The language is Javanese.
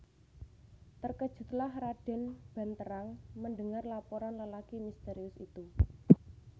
Terkejutlah Raden Banterang mendengar laporan lelaki misterius itu